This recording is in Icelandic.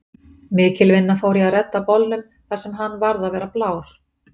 Mikil vinna fór í að redda bolnum þar sem hann varð að vera blár.